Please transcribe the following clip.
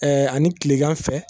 Ɛɛ ani tilegan fɛ